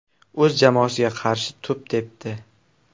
O‘z jamoasiga qarshi to‘p tepdi.